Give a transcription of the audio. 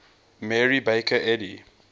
mary baker eddy